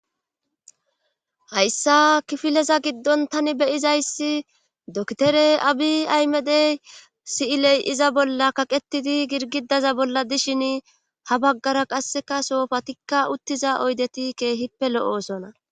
hayssa kifileza giddon tani beyizayssi dokitere abi aymede si7iley7iza bolla kaqetidi girgidaza bolla dishin ha baggara qasseka soofa tikka uttiza oydeti keehippe lo7oosona